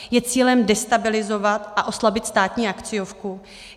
Je cílem destabilizovat a oslabit státní akciovku?